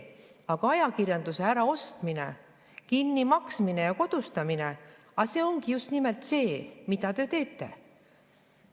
Aga ajakirjanduse äraostmine, kinnimaksmine ja kodustamine ongi just nimelt see, mida te teete.